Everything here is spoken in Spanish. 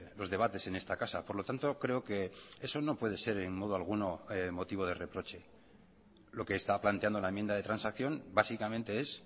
los debates en esta casa por lo tanto creo que eso no puede ser en modo alguno motivo de reproche lo que está planteando la enmienda de transacción básicamente es